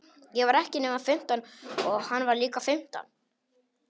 Ég var ekki nema fimmtán og hann var líka fimmtán.